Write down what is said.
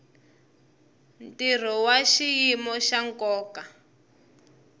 ntirho wa xiyimo xa nkoka